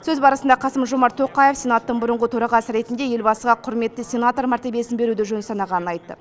сөз барысында қасым жомарт тоқаев сенаттың бұрынғы төрағасы ретінде елбасыға құрметті сенатор мәртебесін беруді жөн санағанын айтты